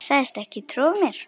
Sagðist ekki trúa mér.